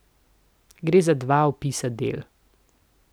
Gre za dva opisa del.